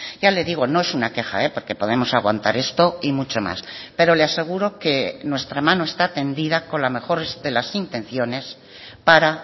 ya le digo no es una queja porque podemos aguantar esto y mucho más pero le aseguro que nuestra mano está tendida con la mejor de las intenciones para